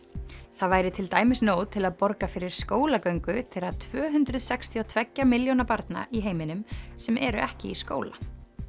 það væri til dæmis nóg til að borga fyrir skólagöngu þeirra tvö hundruð sextíu og tveggja milljóna barna í heiminum sem eru ekki í skóla